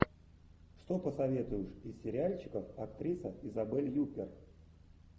что посоветуешь из сериальчиков актриса изабель юппер